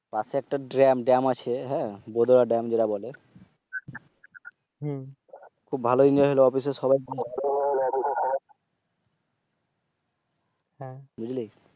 পাশে একটা ড্রেম আছে। বোধয়া ড্রেম যেটা কে বলে। খুব ভালো Enjoy হলো। অফিসের সবাই বুঝলি?